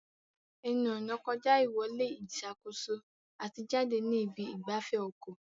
Ẹnu-ọ̀nà kọjá ìwọlé ìṣàkóso àti jáde ní ibi ìgbafẹ́ ọkọ̀.